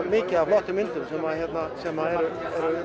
mikið af flottum myndum sem eru